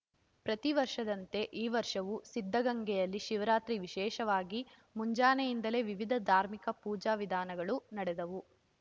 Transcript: ಪ್ರತಿ ವರ್ಷದಂತೆ ಈ ವರ್ಷವೂ ಸಿದ್ದಗಂಗೆಯಲ್ಲಿ ಶಿವರಾತ್ರಿ ವಿಶೇಷವಾಗಿ ಮುಂಜಾನೆಯಿಂದಲೇ ವಿವಿಧ ಧಾರ್ಮಿಕ ಪೂಜಾ ವಿಧಾನಗಳು ನಡೆದವು